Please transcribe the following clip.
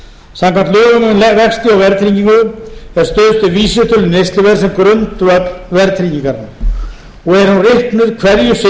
um vexti og verðtryggingu er stuðst við vísitölu neysluverðs sem grundvöll verðtryggingarinnar og er hún reiknuð hverju